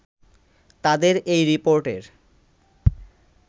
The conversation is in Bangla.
তাদের এই রিপোর্টের